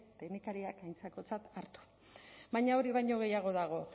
teknikariak aintzakotzat hartu baina hori baino gehiago dago